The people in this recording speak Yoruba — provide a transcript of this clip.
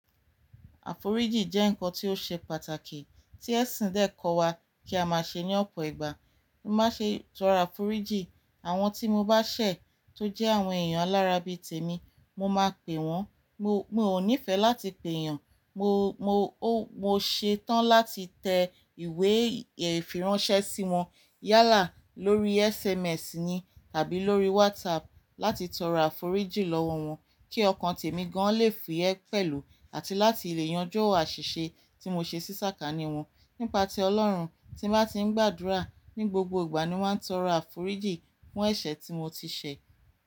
Àforíjìn jẹ́ nnkan tí ó ṣe pàtàkì tí ẹ̀sìn dé kọ́ wa kí a má ṣe ní ọ̀pọ̀ ìgbà. Mo má ṣe tọrọ àforíjìn àwọn tí mo bá ṣẹ̀ tó jẹ́ àwọn èèyàn alára bí tèmi, mo máa pè wọ́n. Mo, mo ò nífẹ̀ẹ́ láti pè èèyàn. Mo, mo, mo ṣetan láti tẹ ìwé ìfiránsẹ́ sí wọn yálà lórí SMS ni tàbí lórí WhatsApp láti tọrọ àforíjìn lọ́wọ́ wọ́n kí ọkàn tèmi gan lé fuye pẹ̀lú àti láti lè yanjú àṣìṣe tí mo ṣe sí sákání wọn. Nípa ti Ọlọ́run tí n bá tí ń gbàdúrà ní gbogbo ìgbà ni wọ́n ń tọrọ àforíjìn fún ẹ̀ṣẹ̀ tí mo ti ṣẹ̀.